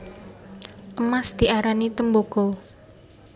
Emas diarani tembaga